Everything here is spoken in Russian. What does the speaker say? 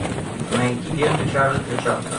найти ленту чарльза чаплина